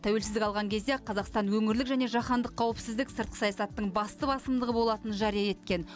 тәуелсіздік алған кезде ақ қазақстан өңірлік және жаһандық қауіпсіздік сыртқы саясаттың басты басымдығы болатынын жария еткен